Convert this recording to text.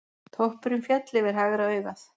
Toppurinn féll yfir hægra augað.